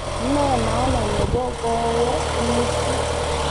Ne maana nebo koweek Lissu